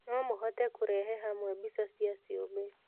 No mũhote kũrehe hamwe mbica cia ciũmbe.